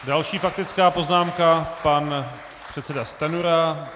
Další faktická poznámka, pan předseda Stanjura.